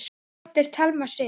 Þín dóttir, Thelma Sif.